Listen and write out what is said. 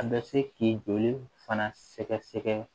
A bɛ se k'i joli fana sɛgɛsɛgɛ